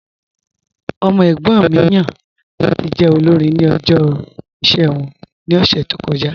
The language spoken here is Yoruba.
Ọmọ ẹ̀gbọ́n mi yan lati jẹ́ olórìn ni ọ̀jọ̀ iṣẹ wọn ni ọ̀ṣẹ̀ tó kọja